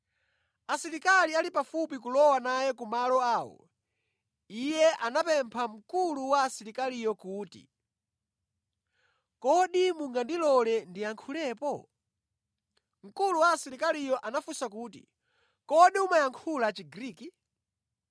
Asilikali ali pafupi kulowa naye ku malo awo, iye anapempha mkulu wa asilikaliyo kuti, “Kodi mungandilole ndiyankhulepo?” Mkulu wa asilikaliyo anafunsa kuti, “Kodi umayankhula Chigriki?